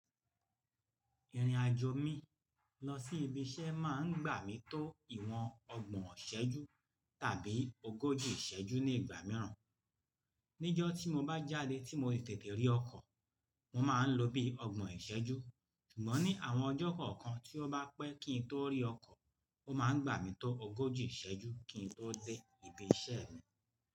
Ìrìnàjò mi lọ sí ibi iṣẹ́ máa ń gbà mí tó ìwọ̀n ọgbọ̀n ìṣẹ́jú tàbí ogójì ìṣẹ́jú ní ìgbà mìíràn. Ní ọjọ́ tí mo bá jáde tí mo tètè rí ọkọ̀, mo máa ń lo bí ọgbọ̀n ìṣẹ́jú. Ṣùgbọ́n ní àwọn ọjọ́ kọ̀ọ̀kan tí ó bá pẹ́ kí n tó rí ọkọ̀, ó máa ń gbà mí tó ogójì ìṣẹ́jú kí n tó dé ibi iṣẹ́ mi.